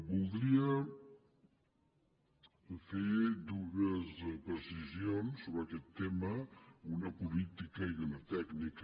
voldria fer dues precisions sobre aquest tema una política i una tècnica